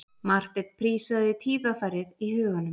Marteinn prísaði tíðarfarið í huganum.